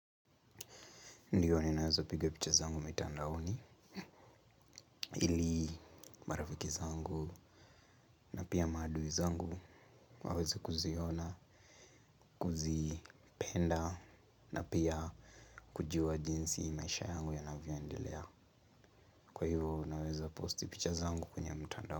Ndiyo ninaweza piga picha zangu mitandaoni, ili marafiki zangu na pia maadui zangu waweze kuziona, kuzipenda na pia kujua jinsi maisha yangu yanavyoendelea. Kwa hivo naweza posti picha zangu kwenye mtandao uni.